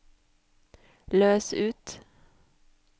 løs ut